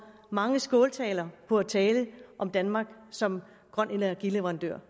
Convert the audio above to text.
mange skåltaler på at tale om danmark som grøn energi leverandør